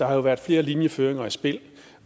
har været flere linjeføringer i spil